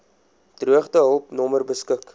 droogtehulp nommer beskik